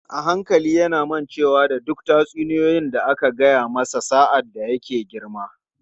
A hankali yana mancewa da duk tatsuniyoyi da aka gaya mana sa’ad da muke girma.